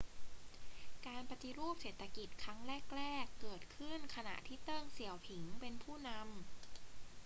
การปฏิรูปเศรษฐกิจครั้งแรก ๆ เกิดขึ้นขณะที่เติ้ง เสี่ยวผิงเป็นผู้นำ